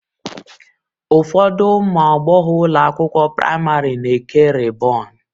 Ụfọdụ ụmụ agbọghọ ụlọ akwụkwọ praịmarị na-eke rịbọn.